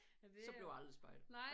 Så bliver jeg aldrig spejder